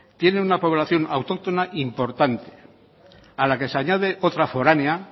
tiene una población autóctona importante a la que se añade otra foránea